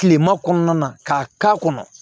Kilema kɔnɔna ka k'a kɔnɔ